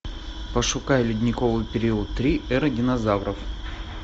пошукай ледниковый период три эра динозавров